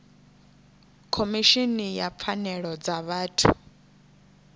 khomishini ya pfanelo dza vhathu